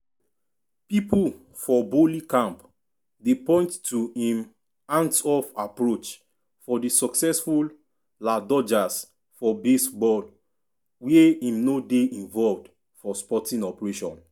pipo for boehly camp dey point to im hands-off approach for di successful la dodgers for baseball wia im no dey involved for sporting operation.